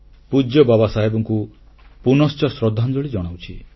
ପୂଜ୍ୟ ବାବାସାହେବଙ୍କୁ ପୁନଶ୍ଚ ଶ୍ରଦ୍ଧାଞ୍ଜଳି ଜଣାଉଛି